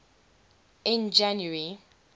in january